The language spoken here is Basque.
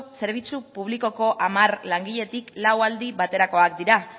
zerbitzu publikoko hamar langiletik lau aldi baterakoak dira